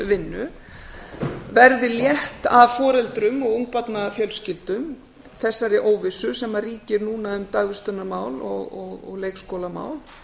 samráðsvinnu verði létt af foreldrum og ungbarnafjölskyldum þessari óvissu sem ríkir núna um dagvistunarmál og leikskólamál